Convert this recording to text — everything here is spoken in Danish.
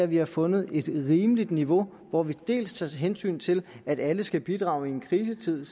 vi har fundet et rimeligt niveau hvor vi dels tager hensyn til at alle skal bidrage i en krisetid